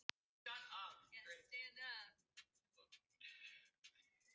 Og þó, líklega hugsaði ég alls ekki svona.